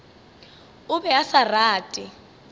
o be a sa rate